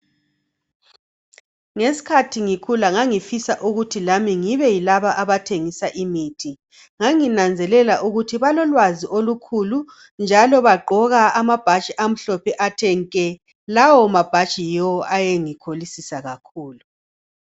Ngeskhathi ngikhula ngangifisa ukuthi lami ngibe yilaba abahjengisa imithi. Nganginanzelela ukuba balolwazi olukhulu njalo bagqoka amabhatshi athe nke. Lawo mabhatshi yiwo ayengikholisisa kakhulu.